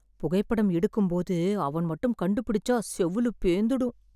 புகைப்படம் எடுக்கும் போது அவன் மட்டும் கண்டு பிடிச்சா செவுலு பேந்துடும்